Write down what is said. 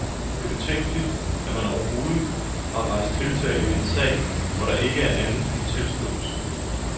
Det er betænkeligt, at man overhovedet har rejst tiltale i en sag, hvor der ikke er andet end en tilståelse.